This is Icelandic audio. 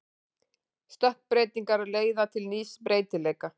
Stökkbreytingar leiða til nýs breytileika.